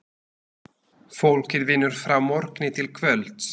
Fólkið vinnur frá morgni til kvölds.